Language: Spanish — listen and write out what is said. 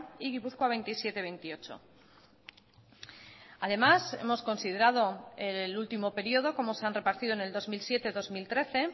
y gipuzkoa veintisiete veintiocho además hemos considerado el último periodo como se han repartido en el dos mil siete dos mil trece